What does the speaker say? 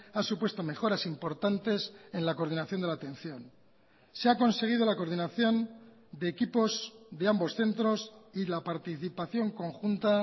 ha supuesto mejoras importantes en la coordinación de la atención se ha conseguido la coordinación de equipos de ambos centros y la participación conjunta